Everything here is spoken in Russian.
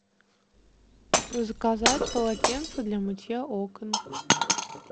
заказать полотенца для мытья окон